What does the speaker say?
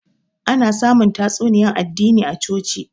Ana samun tatsuniyan addini a coci